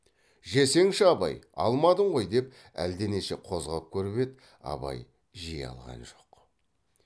жесеңші абай алмадың ғой деп әлденеше қозғап көріп еді абай жей алған жоқ